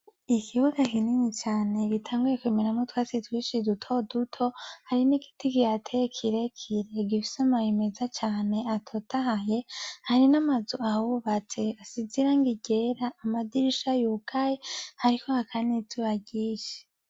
Ikibuga kinini cane gitanguye kumeramwo utwatsi twinshi duto duto, hari n'igiti kihateye kirekire gifise amababi meza cane atotahaye, hari n'amazu ahubatse asize irangi ryera amadirisha yugaye, hariko haka n'izuba ryinshi.